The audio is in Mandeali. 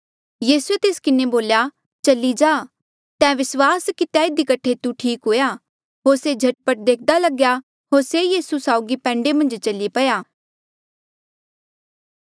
यीसूए तेस किन्हें बोल्या चली जा ते विस्वास कितेया इधी कठे तू ठीक हुआ होर से झट पट देख्दा लग्या होर से यीसू साउगी पैंडे मन्झ चली पया